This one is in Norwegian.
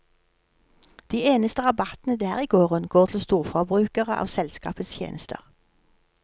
De eneste rabattene der i gården går til storforbrukere av selskapets tjenester.